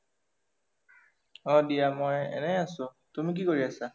অ দিয়া, মই এনেই আছোঁ তুমি কি কৰি আছা?